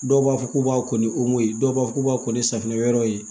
Dɔw b'a fɔ k'u b'a ko ni ye dɔw b'a fɔ k'u b'a kɛ ni safunɛ wɛrɛw ye